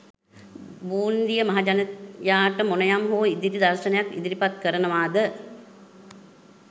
බූන්දිය මහජනයාට මොනයම් හෝ ඉදිරි දර්ශනයක් ඉදිරිපත් කරනවද?